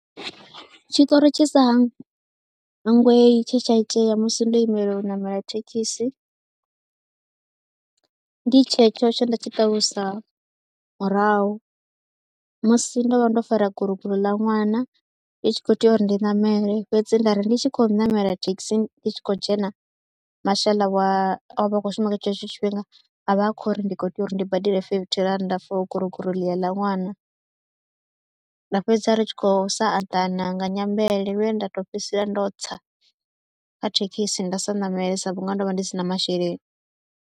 Tshiṱori tshi sa hangwei tshe tsha itea musi ndo imela u ṋamela thekhisi, ndi tshetsho tshe nda tshi ṱalusa murahu musi ndo vha ndo fara guroguro ḽa ṅwana ndi tshi khou tea uri ndi ṋamele fhedzi nda ri ndi tshi khou ṋamela thekhisi ndi tshi khou dzhena mashaḽa wa a vha khou shuma kha tshetsho tshifhinga a vha a khou ri ndi khou tea uri ndi badele fifithi rannda for guroguro ḽiya ḽa ṅwana, nda fhedzisela ri tshi khou sa anḓana nga nyimele lwe nda tou fhedzisela ndo tsa kha thekhisi nda sa ṋamele sa vhunga ndo vha ndi si na masheleni.